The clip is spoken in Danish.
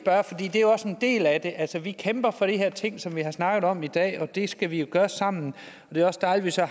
det er også en del af det altså vi kæmper for de her ting som vi har snakket om i dag og det skal vi jo gøre sammen det er også dejligt at